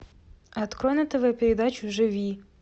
открой на тв передачу живи